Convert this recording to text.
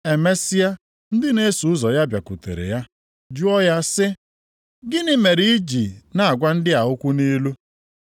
Emesịa, ndị na-eso ụzọ ya bịakwutere ya jụọ ya sị, “Gịnị mere i ji na-agwa ndị a okwu nʼilu?”